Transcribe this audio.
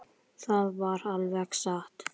Það var alveg satt.